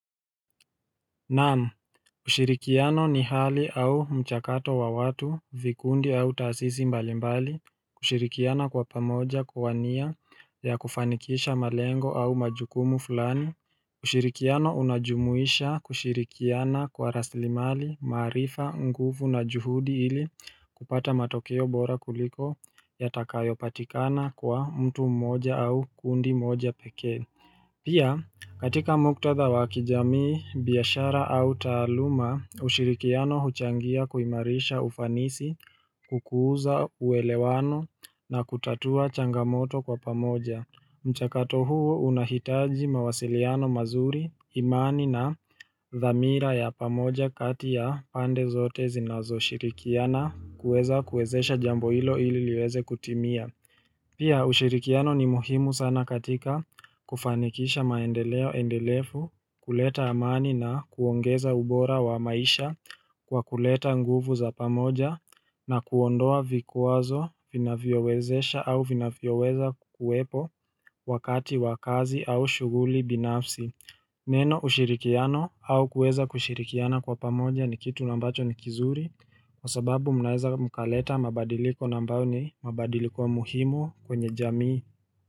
Naam ushirikiano ni hali au mchakato wa watu vikundi au taasisi mbalimbali kushirikiana kwa pamoja kwa nia ya kufanikisha malengo au majukumu fulani ushirikiano unajumuisha kushirikiana kwa rasilimali maarifa nguvu na juhudi ili kupata matokeo bora kuliko ya takayo patikana kwa mtu mmoja au kundi moja pekee Pia katika muktadha wakijamii, biashara au taaluma, ushirikiano huchangia kuimarisha ufanisi, kukuza uelewano na kutatua changamoto kwa pamoja. Mchakato huo unahitaji mawasiliano mazuri, imani na dhamira ya pamoja kati ya pande zote zinazo shirikiana kueza kuezesha jambo hilo ili liweze kutimia. Pia ushirikiano ni muhimu sana katika kufanikisha maendeleo endelefu kuleta amani na kuongeza ubora wa maisha kwa kuleta nguvu za pamoja na kuondoa vikwazo vinavyowezesha au vinavyoweza kuwepo wakati wakazi au shughuli binafsi. Neno ushirikiano au kueza kushirikiana kwa pamoja ni kitu nambacho ni kizuri kwa sababu mnaweza mkaleta mabadiliko nambayo ni mabadiliko muhimu kwenye jamii.